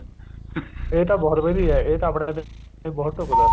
ਹਮ ਇਹ ਤਾਂ ਬਹੁਤ ਵਧੀਆ ਇਹ ਤਾਂ ਆਪਣੇ ਵਾਸਤੇ ਬਹੁਤ ਢੁੱਕਦਾ